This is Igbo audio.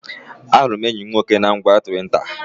Ahụrụ m enyi mụ nwoke na ngwa Twita